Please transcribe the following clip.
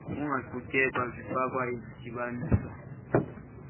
kungaqhutyeka zifakwa zidityaniswa